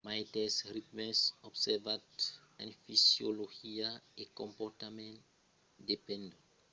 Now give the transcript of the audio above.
maites ritmes observats en fisiologia e comportament dependon sovent crucialament de la preséncia de cicles endogèns e de lor produccion a travèrs de relòtges biologics